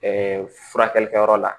furakɛlikɛyɔrɔ la